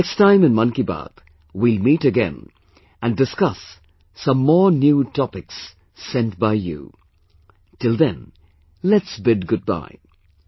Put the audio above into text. Next time in 'Mann Ki Baat' we will meet again and discuss some more new topics sent by you till then let's bid goodbye